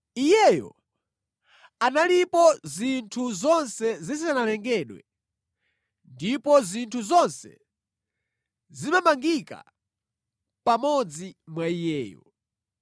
Iyeyo analipo zinthu zonse zisanalengedwe ndipo zinthu zonse zimamangika pamodzi mwa Iye.